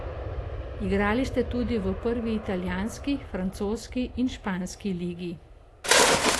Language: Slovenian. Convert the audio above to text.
Igrali ste tudi v prvi italijanski, francoski in španski ligi.